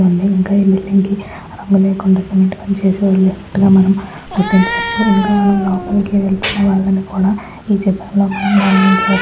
ఉంది ఇంకా ఈ బిల్డింగ్ కి రంగు లేకుండా సిమెంట్ పని చేసే ఉన్నట్లుగా మనం గుర్తించవచ్చు. ఇంకా మనం లోపలికి వెళ్తున్నవాళ్ళని కూడా ఈ చిత్రంలో మనం గమనించవచ్చు.